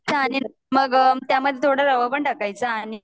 न त्यामध्ये थोड़ा रवा पण टाकायचा आणि